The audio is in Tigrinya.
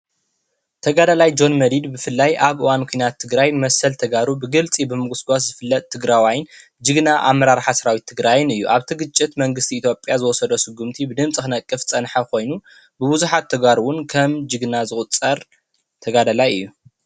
ተጋዳላይ ጆን መዲድ ብፍላይ ኣብ እዋን ኩናት ትግራይ መሰል ተጋሩ ብግልፂ ብምጉስጓስ ዝፍለጥ ትግራዋይን ጅግና ኣመራርሓ ሰራዊት ትግራይን እዩ፡፡ ኣብቲ ግጭት መንግስቲ ኢትዮጵያ ዝወሰዶ ስጉመቲ ብደንቢ ክነቅፍ ዝፀንሐ ኮይኑ ብብዙሓት ተጋሩ እውን ከም ጅግና ዝቑፀር ተጋዳላይ እዩ፡፡